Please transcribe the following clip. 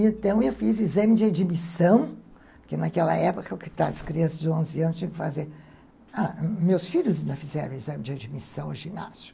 Então, eu fiz exame de admissão, porque naquela época, as crianças de onze anos tinham que fazer... Meus filhos ainda fizeram exame de admissão ao ginásio.